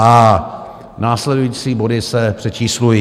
a), následující body se přečíslují;